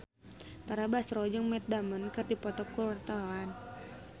Tara Basro jeung Matt Damon keur dipoto ku wartawan